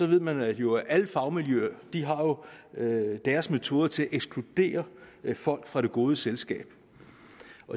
ved man jo at alle fagmiljøer har deres metoder til at ekskludere folk fra det gode selskab